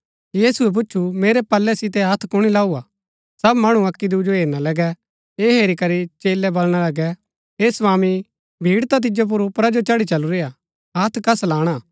यीशुऐ पूच्छु मेरै पलै सितै हत्थ कुणी लाऊआ सब मणु अक्की दुऐ जो हेरना लगै ऐह हेरी करी चेलै बलणा लगै हे स्वामी भीड़ ता तिजो ऊपरा जो चढ़ी चलुरी हा हथ्‍थ कस लाणा